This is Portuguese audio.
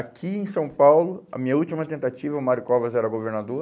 Aqui em São Paulo, a minha última tentativa, o Mário Covas era governador.